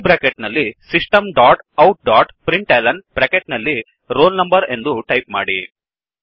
curly bracket ನಲ್ಲಿ system dot out dot println bracket ನಲ್ಲಿ roll number ಎಂದು type ಮಾಡಿ